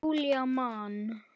Og Júlía man.